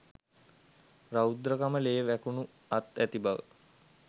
රෞද්‍රකම ලේ වැකුණු අත් ඇති බව